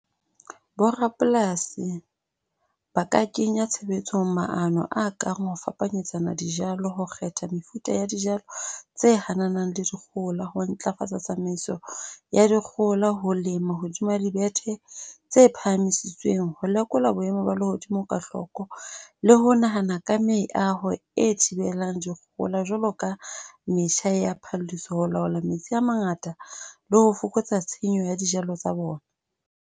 Borapolasi ba ka kenya tshebetsong maano a kang ho fapanyetsana dijalo, ho kgetha mefuta ya dijalo tse hananang le dikgohola. Ho ntlafatsa tsamaiso ya dikgohola. Ho lema hodima dibethe tse phahamisitsweng. Ho lekola boemo ba lehodimo ka hloko le ho nahana ka meaho e thibelang dikgohola. Jwalo ka metjha ya ho laola metsi a mangata le ho fokotsa tshenyo ya dijalo tsa bona.